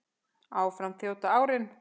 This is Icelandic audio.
Áfram þjóta árin